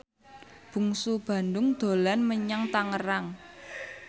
Bungsu Bandung dolan menyang Tangerang